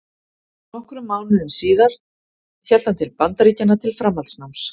Nokkrum mánuðum síðar hélt hann til Bandaríkjanna til framhaldsnáms.